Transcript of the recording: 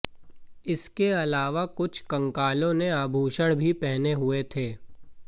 इसके अलावा कुछ कंकालों ने आभूषण भी पहने हुए थे